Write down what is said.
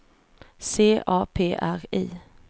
C A P R I